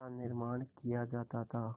का निर्माण किया जाता था